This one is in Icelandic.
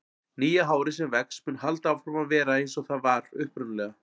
Nýja hárið sem vex mun halda áfram að vera eins og það var upprunalega.